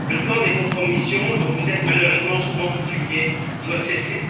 Le temps des compromissions, dont vous êtes malheureusement souvent coutumiers, doit cesser.